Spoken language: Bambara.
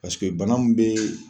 Paseke bana mun be